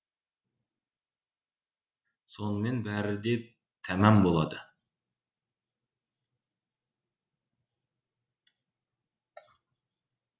сонымен бәрі де тәмам болады